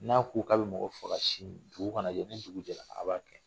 N'a ko k'a bɛ mɔgɔ faga sini, dugu kana jɛ, ni dugu jɛra, a b'a kɛ!